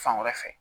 Fan wɛrɛ fɛ